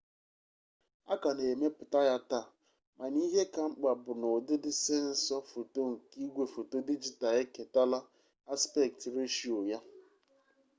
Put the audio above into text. a ka na-emepụta ya taa mana ihe ka mkpa bụ na ụdịdị sensọ foto nke igwefoto dijital eketala aspekt reshiyo ya